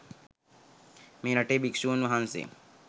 මේ රටේ භික්ෂූන් වහන්සේ